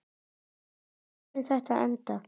Hvar mun þetta enda?